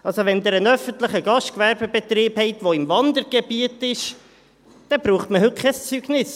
Also: Wenn Sie einen öffentlichen Gastgewerbebetrieb haben, der im Wandergebiet ist, dann braucht man heute kein Zeugnis.